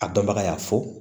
A dɔnbaga y'a fɔ